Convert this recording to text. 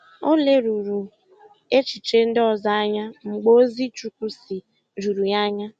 Ọ lèrùrù echiche ndị ọzọ anya mgbe ozi “Chukwu sị” jùrù ya anya.